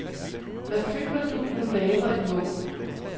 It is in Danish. Hvad føler du, når du laver et mål?